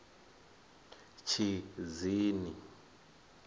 tshidzini